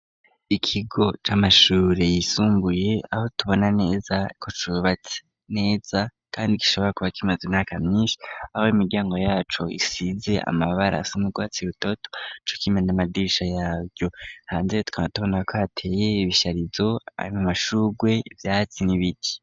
Ikigo c'amashure yisumbuye aho tubona neza ku cubatse neza, kandi gishobora kuba kimaza imyaka myinshi abo imiryango yaco isize amabara asoma urwatsi utoto co kimena amadirisha yaryo hanze twa tubona ko hateye ibisharizo arimumashurwe vyatsi n'ibiti.